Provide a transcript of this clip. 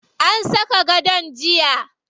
An saka gadon jiya.